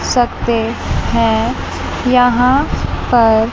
है यहां पर--